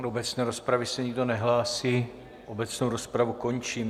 Do obecné rozpravy se nikdo nehlásí, obecnou rozpravu končím.